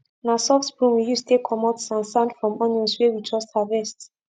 na soft broom we use take comot san san from onions wey we just harvest